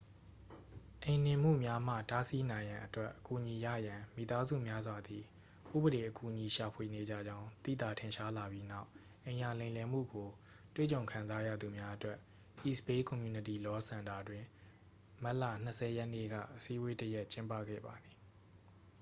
အိမ်နှင်မှုများမှ တားဆီးနိုင်ရန်အတွက် အကူအညီရရန် မိသားစုများစွာသည် ဥပဒေအကူအညီရှာဖွေနေကြကြောင်း သိသာထင်ရှားလာပြီးနောက် အိမ်ယာလိမ်လည်မှုကိုတွေ့ကြုံခံစားရသူများအတွက် east bay community law စင်တာတွင် မတ်လ 20 ရက်နေ့က အစည်းအဝေးတစ်ရပ်ကျင်းပခဲ့ပါသည်